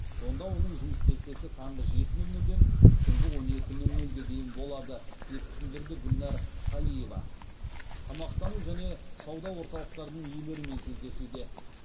онда оның жұмыс кестесі таңғы жеті нөл нөлден түнгі он екі нөл нөлге дейін болады деп түсіндірді гүлнәр калиева тамақтану және сауда орталықтарының иелерімен кездесуде